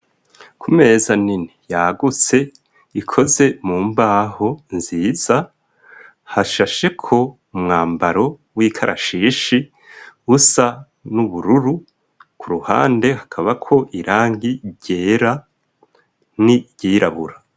Ku meza nini yagutse ikoze mu mbaho nziza hashasheko umwambaro w'ikarashishi busa n'ubururu, ku ruhande hakabako irangi ryera n'iryirabura.